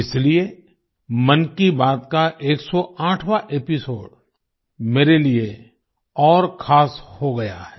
इसलिए मन की बात का 108वाँ एपिसोड मेरे लिए और खास हो गया है